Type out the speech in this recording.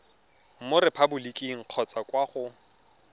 mo repaboliking kgotsa kwa go